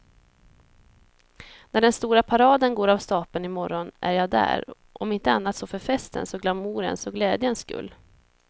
När den stora paraden går av stapeln i morgon är jag där, om inte annat så för festens och glamourens och glädjens skull.